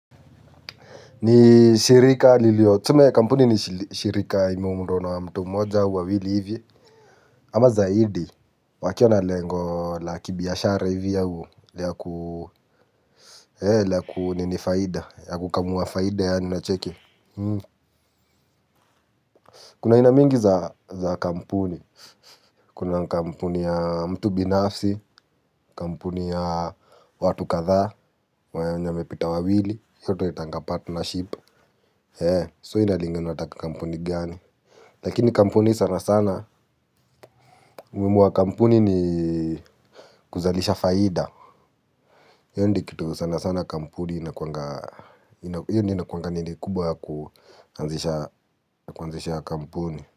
Ni shirika liliyo, tume ya kampuni ni shirika imeundwa mtu mmoja au wawili hivi, ama zaidi wakiwa na lengo la kibiashara hivi au ya ku nini faida ya kukamua faida yani unacheki. Kuna aina mingi za kampuni kuna kampuni ya mtu binafsi. Kampuni ya watu kadhaa wenye wamepita wawili. Hiyo tunaitanga partnership, so ina lingana unataka kampuni gani. Lakini kampuni sana sana, umihimu wa kampuni ni kuzalisha faida. Hiyo ndiyo kitu sana sana kampuni inakuanga, hiyo ndiyo inakuanga nini kubwa ya kuanzisha kampuni.